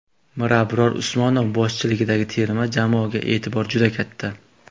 Mirabror Usmonov boshchiligidagi terma jamoaga e’tibor juda katta.